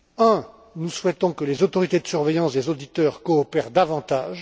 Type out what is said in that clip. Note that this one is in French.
Premièrement, nous souhaitons que les autorités de surveillance des auditeurs coopèrent davantage.